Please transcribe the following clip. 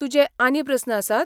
तुजे आनी प्रस्न आसात?